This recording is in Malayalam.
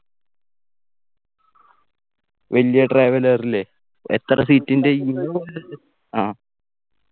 വലിയ traveller ഇല്ലേ എത്ര seat ൻ്റെ ആ